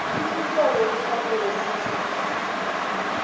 isihlobo kufanele sithathe